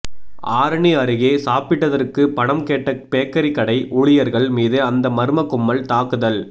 ஆரணி அருகே சாப்பிட்டதற்குகு பணம் கேட்ட பேக்கரி கடை ஊழியர்கள் மீது அந்த மர்ம கும்பல் தாக்குதல்